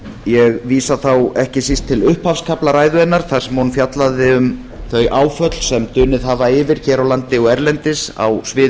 ég vísa þá ekki síst til upphafskafla ræðu hennar þar sem hún fjallaði um þau áföll sem dunið hafa yfir hér á landi og erlendis á sviði